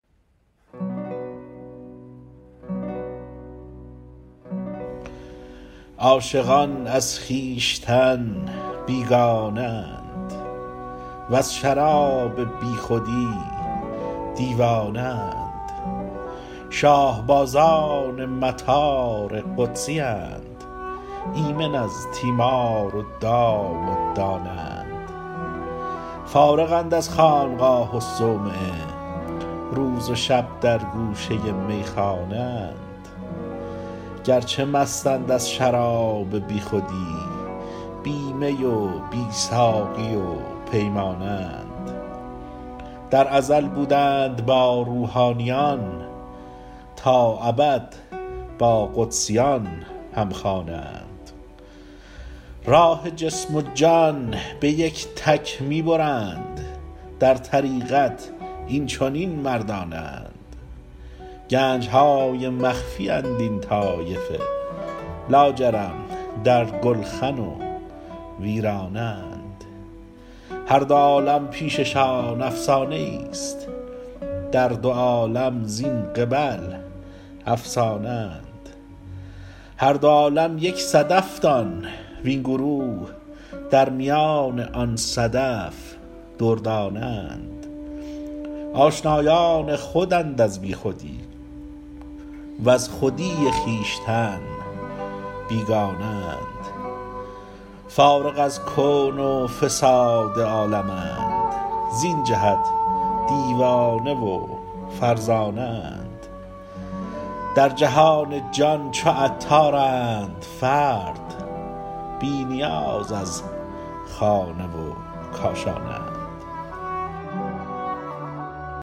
عاشقان از خویشتن بیگانه اند وز شراب بیخودی دیوانه اند شاه بازان مطار قدسیند ایمن از تیمار دام و دانه اند فارغند از خانقاه و صومعه روز و شب در گوشه میخانه اند گرچه مستند از شراب بیخودی بی می و بی ساقی و پیمانه اند در ازل بودند با روحانیان تا ابد با قدسیان هم خانه اند راه جسم و جان به یک تک می برند در طریقت این چنین مردانه اند گنج های مخفی اند این طایفه لاجرم در گلخن و ویرانه اند هر دو عالم پیش شان افسانه ای است در دو عالم زین قبل افسانه اند هر دوعالم یک صدف دان وین گروه در میان آن صدف دردانه اند آشنایان خودند از بیخودی وز خودی خویشتن بیگانه اند فارغ از کون و فساد عالمند زین جهت دیوانه و فرزانه اند در جهان جان چو عطارند فرد بی نیاز از خانه و کاشانه اند